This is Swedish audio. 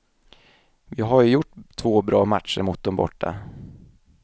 Vi har ju gjort två bra matcher mot dom borta.